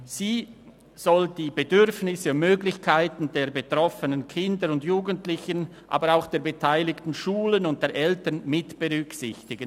Sie soll die Bedürfnisse und Möglichkeiten der betroffenen Kinder und Jugendlichen, aber auch der beteiligten Schulen und der Eltern mitberücksichtigen.